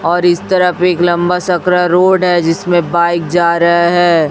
और इस तरफ एक लंबा सकरा रोड है जिसमें बाइक जा रहा है।